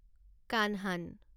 Kanhan